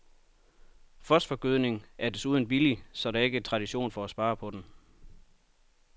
Fosforgødning er desuden billig, så der er ikke tradition for at spare på den.